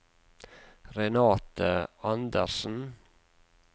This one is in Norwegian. Renate Anderssen